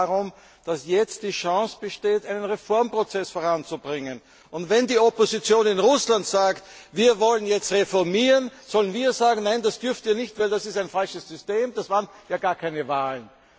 Es geht darum, dass jetzt die Chance besteht, einen Reformprozess voranzubringen. Und wenn die Opposition in Russland sagt, wir wollen jetzt reformieren, sollen wir dann sagen Nein, dass dürft Ihr nicht, denn das ist ein falsches System, das waren ja gar keine Wahlen?